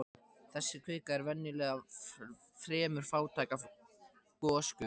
Þessi kvika er venjulega fremur fátæk af gosgufum.